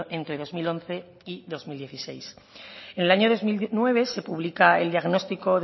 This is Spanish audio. entre dos mil once y dos mil dieciséis en el año dos mil nueve se publica el diagnóstico